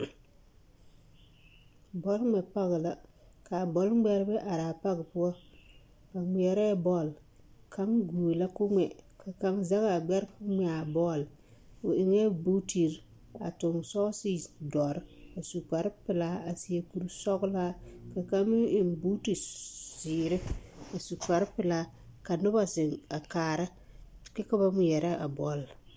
Bɔl ŋmɛ pag kaa bɔlŋmɛrebɛ araa pag poɔ ba ŋmeɛrɛ bɔl kaŋ gue la koo ŋmɛ ka kaŋ zɛgaa gbɛre koo ŋmɛ a bɔl o eŋɛɛ buutere a toŋ sɔɔse doɔre a su kparrepelaa a seɛ koresɔglaa ka kaŋ meŋ eŋ buute zeere kyɛ su kparrepelaa ka nobɔ zeŋ a kaara kyɛ ka ba naŋ ŋmeɛre a bɔl.